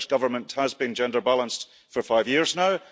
The Scottish Government has been gender balanced for five years now.